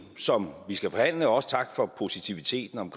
som vi skal forhandle også tak for positiviteten om